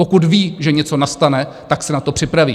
Pokud ví, že něco nastane, tak se na to připraví.